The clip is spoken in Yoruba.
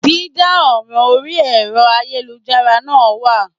Dídá ọ̀ràn orí ẹ̀rọ ayélujára náà wà